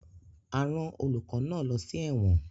A rán olùkọ́ náà lọ sí ẹ̀wọ̀n